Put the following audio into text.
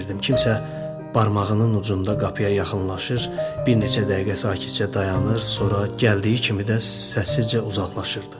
Kimsə barmağının ucunda qapıya yaxınlaşır, bir neçə dəqiqə sakitcə dayanır, sonra gəldiyi kimi də səssizcə uzaqlaşırdı.